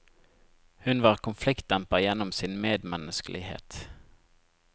Hun var konfliktdemper gjennom sin medmenneskelighet.